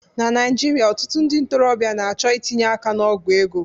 Na Naijiria, ọtụtụ ndị ntorobịa na-achọ itinye aka n'ogwu ego.